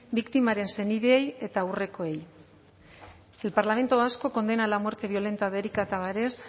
biktimaren senideei eta aurrekoei el parlamento vasco condena la muerte violenta de erika tavares